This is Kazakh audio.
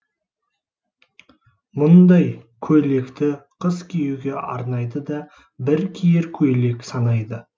мұндай көйлекті қыс киюге арнайды да бір киер көйлек санайды